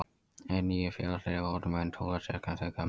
Hin nýju Félagsrit voru mun pólitískari en þau gömlu.